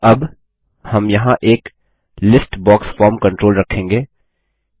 अब हम यहाँ एक लिस्ट बॉक्स फॉर्म कंट्रोल रखेंगे